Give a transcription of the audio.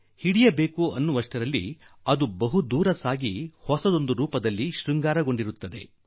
ನೀವು ಹಿಡಿಯಲು ಹೋದರೆ ಅಷ್ಟು ಹೊತ್ತಿಗೆ ಹೊಸ ರೂಪ ರಂಗುಗಳೊಡನೆ ಬಲುದೂರ ಹೋಗಿ ಬಿಟ್ಟಿರುತ್ತದೆ